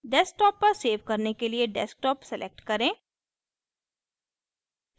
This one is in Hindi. desktop पर सेव करने के लिए desktop select करें